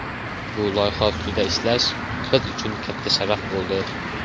Bu loyiha ustida ishlash biz uchun katta sharaf bo‘ldi.